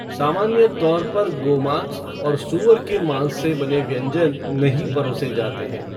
सामान्य तौर पर गोमाँस और सूअर के माँस से बने व्यंजन नहीं परोसे जाते हैं।